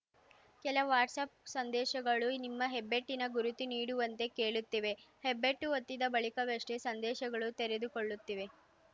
ಕೆಲ ವಾಟ್ಸ್ಆ್ಯಪ್‌ ಸಂದೇಶಗಳು ನಿಮ್ಮ ಹೆಬ್ಬೆಟ್ಟಿನ ಗುರುತು ನೀಡುವಂತೆ ಕೇಳುತ್ತಿವೆ ಹೆಬ್ಬೆಟ್ಟು ಒತ್ತಿದ ಬಳಿಕವಷ್ಟೇ ಸಂದೇಶಗಳು ತೆರೆದುಕೊಳ್ಳುತ್ತಿವೆ